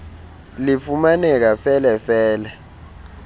lifumaneka fele fele